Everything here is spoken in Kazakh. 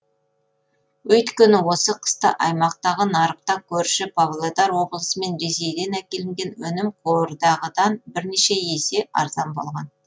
өйткені осы қыста аймақтағы нарықта көрші павлодар облысы мен ресейден әкелінген өнім қордағыдан бірнеше есе арзан болған